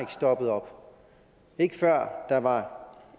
stoppet op ikke før der var